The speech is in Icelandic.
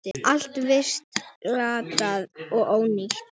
Allt virtist glatað og ónýtt.